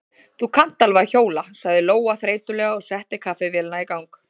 Þú kannt alveg að hjóla, sagði Lóa þreytulega og setti kaffivélina í gang.